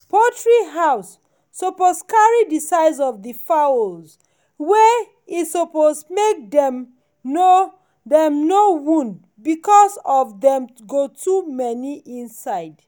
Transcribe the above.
poultry house suppose carry the size of the fowls wey e suppose make dem no dem no wound because of dem go too many inside.